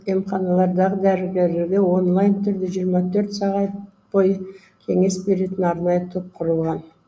емханалардағы дәрігерлерге онлайн түрде жиырма төрт сағат бойы кеңес беретін арнайы топ құрылған